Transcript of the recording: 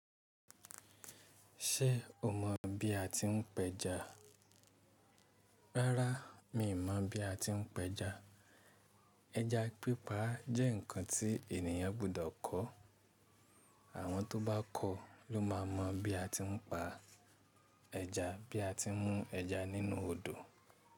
Ṣé o mọ̀ bí a ti ń pẹja? Rárá, mi ò mọ̀ bí a ti ń pẹja. Ẹja pípa jẹ́ ǹkan tí ènìyàn gbọ́dọ̀ kọ́. Àwọn tó bá kọ́ ló máa mọ̀ bí a ti ń pa ẹja, bí a ti ń mú ẹja nínú odò.